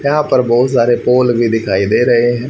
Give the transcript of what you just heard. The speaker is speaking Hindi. यहां पर बहुत सारे पोल भी दिखाई दे रहे है।